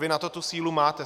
Vy na to tu sílu máte.